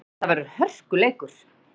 Þetta verður hörkuleikur!